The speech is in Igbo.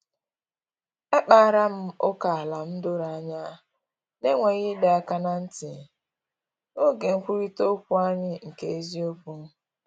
Ekpara m ókèala m doro anya, n’enweghị ịdọ aka ná ntị, n’oge nkwurịta okwu anyị nke eziokwu